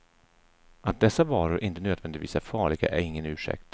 Att dessa varor inte nödvändigtvis är farliga är ingen ursäkt.